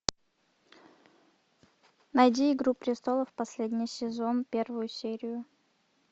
найди игру престолов последний сезон первую серию